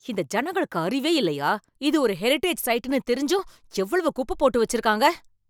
இந்த ஜனங்களுக்கு அறிவே இல்லையா? இது ஒரு ஹெரிடேஜ் சைட்டுன்னு தெரிஞ்சும் எவ்வளவு குப்ப போட்டு வெச்சுருக்காங்க.